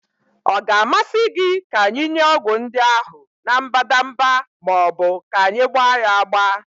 Ọ ga-amasị gị ka anyị nye ọgwụ ndị ahụ na mbadamba ma ọ bụ ka anyị gba ya agba?